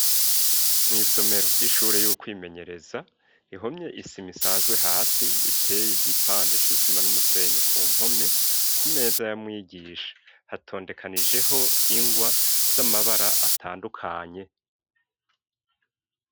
Mw'somero ry'ishure y'ukwimenyereza, ihomye isima isanzwe hasi ,iteye igipande c 'isima n'umusenyi ku mpome, ku meza yamwigisha hatondekanijeho ingwa z'amabara atandukanye.